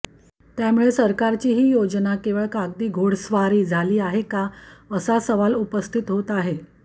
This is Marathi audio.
त्यामुळे सरकारची ही योजना केवळ कागदी घोडेस्वारी झाली आहे का असा सवाल उपस्थित होत आहे